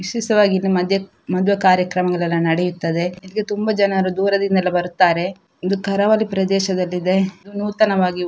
ವಿಶೇಷವಾಗಿ ಇಲ್ಲಿ ಮದು ಮದುವೆ ಕಾರ್ಯಕ್ರಮಗಳೆಲ್ಲ ನಡೆಯುತ್ತದೆ ಇಲ್ಲಿ ತುಂಬ ಜನರು ದೂರದಿಂದೆಲ್ಲಾ ಬರುತ್ತಾರೆ ಇದು ಕರಾವಳಿ ಪ್ರದೇಶದಲ್ಲಿದೆ ಇದು ನೂತನವಾಗಿ.